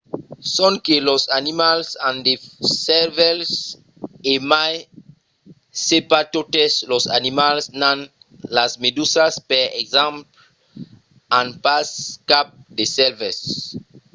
sonque los animals an de cervèls e mai se pas totes los animals n'an; las medusas per exemple an pas cap de cervèl